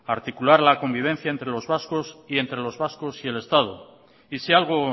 articular la convivencia entre los vascos y entre los vascos y el estado y si algo